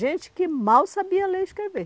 Gente que mal sabia ler e escrever.